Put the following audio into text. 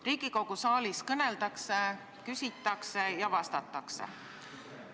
Riigikogu saalis kõneldakse, küsitakse ja vastatakse.